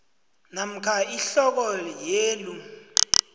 namkha ihloko yelu